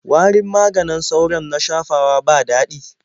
Warin maganin sauron na shafawa ba daɗi.